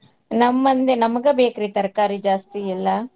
ನಮ್ಮ್ ಮಂದಿ ನಮಗ ಬೇಕ್ರಿ ತರಕಾರಿ ಜಾಸ್ತಿ ಎಲ್ಲಾ.